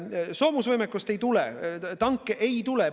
Soomusvõimekust ei tule, tanke ei tule.